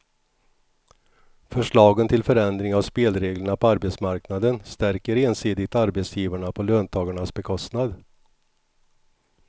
Förslagen till förändring av spelreglerna på arbetsmarknaden stärker ensidigt arbetsgivarna på löntagarnas bekostnad.